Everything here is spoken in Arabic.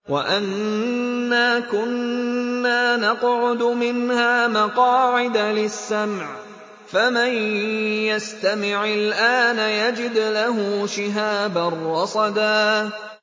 وَأَنَّا كُنَّا نَقْعُدُ مِنْهَا مَقَاعِدَ لِلسَّمْعِ ۖ فَمَن يَسْتَمِعِ الْآنَ يَجِدْ لَهُ شِهَابًا رَّصَدًا